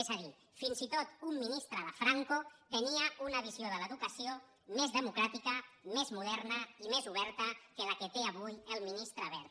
és a dir fins i tot un ministre de franco tenia una visió de l’educació més democràtica més moderna i més oberta que la que té avui el ministre wert